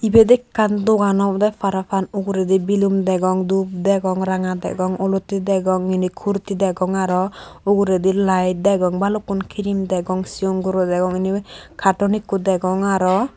ibet ekkan dogan obode parapang uguredi belum degong dup degong ranga degong olottey degong mini kurti degong arow uguredi laet degong balukkun krim degong sigon guro degong inni katun ikko degong arow.